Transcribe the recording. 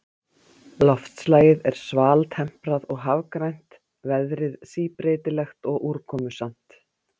Loftslagið er svaltemprað og hafrænt, veðrið síbreytilegt og úrkomusamt.